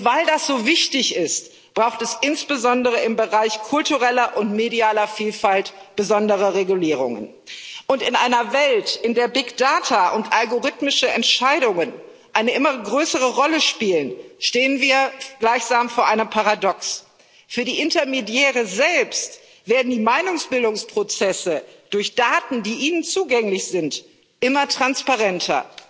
Weil dies so wichtig ist, braucht es insbesondere im Bereich kultureller und medialer Vielfalt besondere Regulierungen. Und in einer Welt, in der Big Data und algorithmische Entscheidungen eine immer größere Rolle spielen, stehen wir gleichsam vor einem Paradox Für die Intermediäre selbst werden die Meinungsbildungsprozesse durch Daten, die ihnen zugänglich sind, immer transparenter.